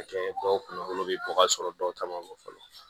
Kɛ dɔw kunkolo bɛ bɔ ka sɔrɔ dɔw caman bɛ fɔlɔ